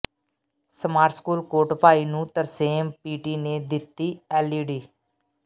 smart school Kotbhai ਨੂੰ Tarsem PT ਨੇ ਦਿੱਤੀ ਐੱਲਈਡੀ